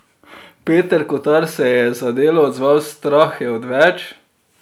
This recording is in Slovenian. Peter Kotar se je za Delo odzval: "Strah je odveč.